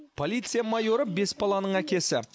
полиция майоры бес баланың әкесі